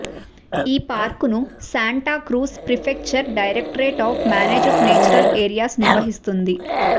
ఈ పార్క్ను Santa Cruz prefecture directorate of managed natural areas నిర్వహిస్తుంది